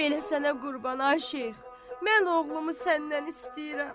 Bəli sənə qurban ay Şeyx, mən oğlumu səndən istəyirəm.